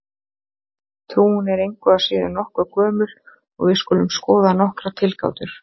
Trúin er engu að síður nokkuð gömul og við skulum skoða nokkrar tilgátur.